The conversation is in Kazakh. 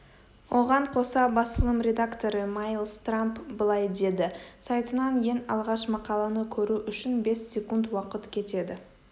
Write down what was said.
оған қоса басылым редакторы майлс трамп былай деді сайтынан ең алғаш мақаланы көру үшін бес секунд уақыт кетеді